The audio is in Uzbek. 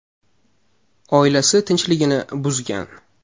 Oilasi tinchligini buzgan.